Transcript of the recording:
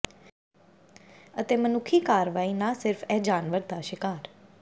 ਅਤੇ ਮਨੁੱਖੀ ਕਾਰਵਾਈ ਨਾ ਸਿਰਫ ਇਹ ਜਾਨਵਰ ਦਾ ਸ਼ਿਕਾਰ